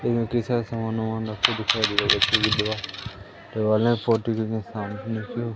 सामान ओमान रख के दिखाई दे रही ।